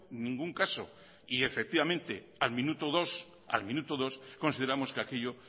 ningún caso y efectivamente al minuto dos consideramos que aquello